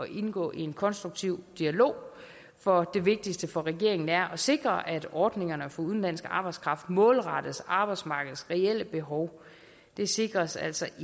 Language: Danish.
indgå i en konstruktiv dialog for det vigtigste for regeringen er at sikre at ordningerne for udenlandsk arbejdskraft målrettes arbejdsmarkedets reelle behov det sikres altså